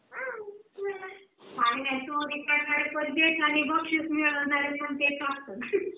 चोरी करणारे पण तेच आणि बक्षीस मिळवणारे पण तेच असतात Laughing